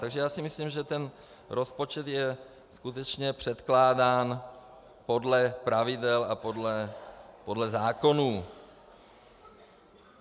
Takže já si myslím, že ten rozpočet je skutečně předkládán podle pravidel a podle zákonů.